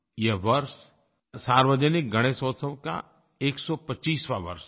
ये वर्ष सार्वजनिक गणेशोत्सव का 125वाँ वर्ष है